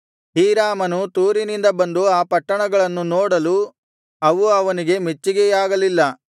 ಹೀರಾಮನು ತೂರಿನಿಂದ ಬಂದು ಆ ಪಟ್ಟಣಗಳನ್ನು ನೋಡಲು ಅವು ಅವನಿಗೆ ಮೆಚ್ಚಿಗೆಯಾಗಲಿಲ್ಲ